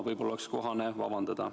Võib-olla oleks kohane vabandada.